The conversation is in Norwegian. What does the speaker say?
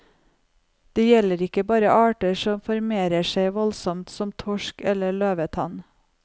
Det gjelder ikke bare arter som formerer seg voldsomt, som torsk eller løvetann.